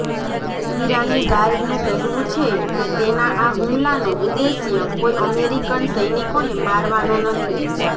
ઈરાની ગાર્ડનું કહેવું છે કે તેના આ હુમલાનો ઉદ્દેશ્ય કોઇ અમેરિકન સૈનિકોને મારવાનો નથી